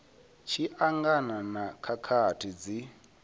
tshi angana na khakhathi dzi